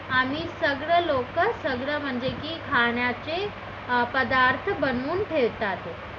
आम्ही सगळे लोक सगळे म्हणजे की खाण्याचे पदार्थ बनवून ठेवतात